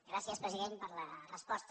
gràcies president per la resposta